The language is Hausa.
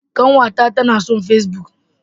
Ƙanwata ta nason face-book.